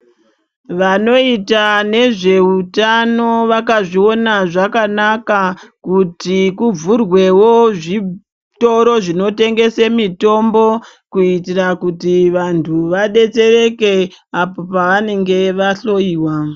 Vanoita nezveutano vakazviona zvakanaka, kuti kuvhurwewo zvitoro zvinotengese mitombo, kuitira kuti vanthu vadetsereke apo pevanenge vahloiwa.